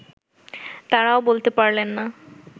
তাঁরাও বলতে পারলেন না